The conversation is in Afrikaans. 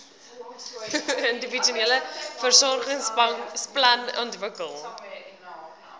individuele versorgingsplan ontwikkel